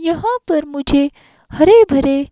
यहाँ पर मुझे हरे भरे--